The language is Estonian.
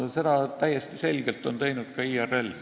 Seda on täiesti selgelt teinud ka IRL.